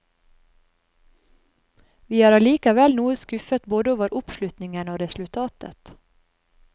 Vi er allikevel noe skuffet både over oppslutningen og resultatet.